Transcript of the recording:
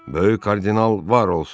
Böyük kardinal var olsun.